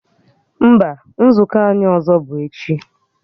Mba, nzukọ anyị ọzọ bụ echi